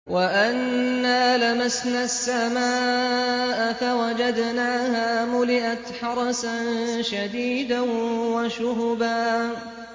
وَأَنَّا لَمَسْنَا السَّمَاءَ فَوَجَدْنَاهَا مُلِئَتْ حَرَسًا شَدِيدًا وَشُهُبًا